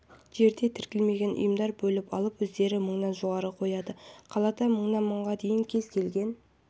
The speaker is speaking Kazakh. жерде тіркелмеген ұйымдар бөліп алып өздері мыңнан жоғары қояды қалада мыңнан мыңға дейін кез келген